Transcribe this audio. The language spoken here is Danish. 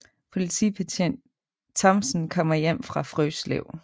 Politibetjent Thomsen kommer hjem fra Frøslev